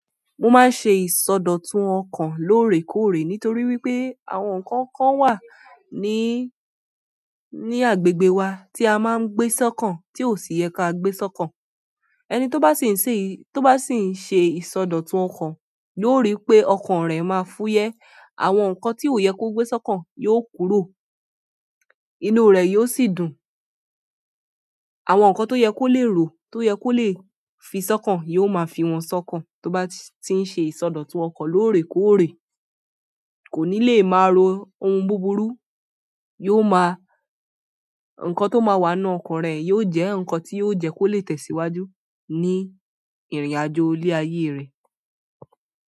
Mo máa ń ṣe ìsọdọ̀tun ọkàn lóòrèkóòrè nítorí wípé àwọn ǹkankan wà ní, ní agbègbè wa tí a máa ń gbé sọ́kàn tí ò sì yẹ ká gbé sọ́kàn. Ẹni tó bá sì ń ṣe, tó bá sì ń ṣe ìsọdọ̀tun ọkàn yóò rí pé ọkàn rẹ̀ máa fúyẹ́, àwọn ǹkan tí ò yẹ kó gbé sọ́kàn yóò kúrò, inú rẹ̀ yóò sì dùn. Àwọn ǹkan tó yẹ kó lè ro, tó yẹ kó lè fi sọ́kàn yóò máa fi wọ́n sọ́kàn. Tó bá ti ń ṣe ìsọdọ̀tun ọkàn lóòrèkóòrè, kò ní lè máa ro ohun búburú, yóò máa-- ǹkan tó máa wà nínú ọkàn rẹ̀ yóò jẹ́ ǹkan tí yóò jẹ́ kó lè tẹ̀síwájú ní ìrìnàjò ilé ayé rẹ̀.